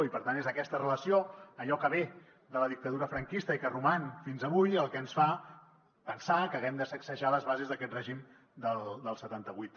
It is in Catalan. i per tant és aquesta relació allò que ve de la dictadura franquista i que roman fins avui el que ens fa pensar que haguem de sacsejar les bases d’aquest règim del setanta vuit